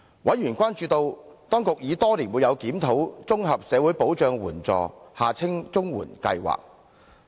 委員關注到，當局已多年沒有檢討綜合社會保障援助計劃。